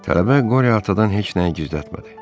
Tələbə Qori atadan heç nəyi gizlətmədi.